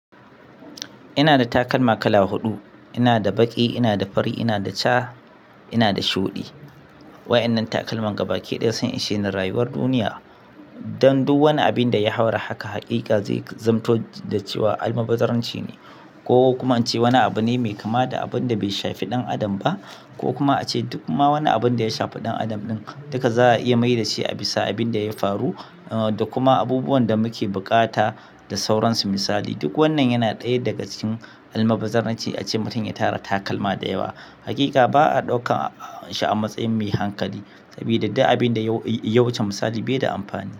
Ina da takalma kala huɗu. Ina da baƙi, ina da fari, ina da ja, ina da shuɗi. Waɗannan takalman gabaki ɗaya sun ishe ni rayuwar duniya. Dan duk wani abin da ya haura haka, haƙiƙa zai zamanto da cewa almaɓazzaranci ne ko kuma in ce wani abu ne mai kama da abin da bai shafi ɗan adam ba, ko kuma ace duk ma wani abin da ya shafi ɗan adam ɗin, duka za a iya maida shi a bisa abin da ya faru da kuma abubuwan da muke bukata da sauransu misali. Duk wannan yana ɗaya daga cikin almaɓazzaranci ace mutum ya tara takalma da yawa. Haƙiƙa ba a ɗaukan shi a matsayin mai hankali sabida duk abin da ya wuce misali bai da amfani.